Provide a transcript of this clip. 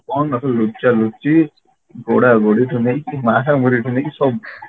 କଣ ନଖେଳୁ ଲୁଚା ଲୁଚି ଗୋଡା ଗୋଡି ଠୁ ନେଇକି ମାରା ମାରିକୁ ନେଇକି ସବୁ